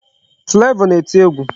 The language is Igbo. Flavor na-eti egwu.